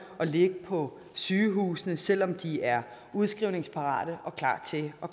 at ligge på sygehusene selv om de er udskrivningsparate og klar til at